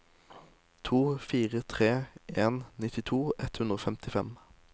to fire tre en nittito ett hundre og femtifem